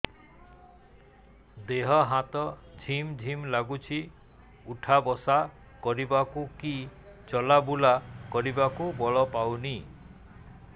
ଦେହେ ହାତ ଝିମ୍ ଝିମ୍ ଲାଗୁଚି ଉଠା ବସା କରିବାକୁ କି ଚଲା ବୁଲା କରିବାକୁ ବଳ ପାଉନି